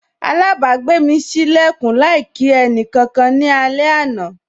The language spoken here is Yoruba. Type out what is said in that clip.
Alabagbe mi sí lekun láì kí ẹnì kankan ní alẹ àná.